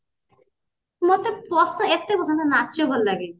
ମତେ ଏତେ ପସନ୍ଦ ନାଚ ଭଲ ଲାଗେନି